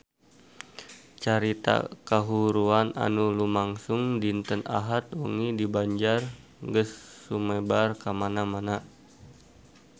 Carita kahuruan anu lumangsung dinten Ahad wengi di Banjar geus sumebar kamana-mana